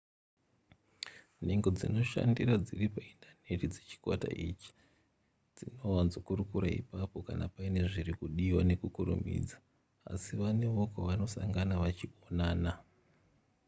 nhengo dzinoshandira dziri paindaneti dzechikwata ichi dzinowanzokurukura ipapo kana paine zviri kudiwa nekukurumidza asi vanewo kwavanosangana vachionana